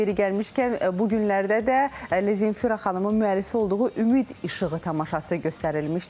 Yeri gəlmişkən, bu günlərdə də Zemfira xanımın müəllifi olduğu "Ümid İşığı" tamaşası göstərilmişdir.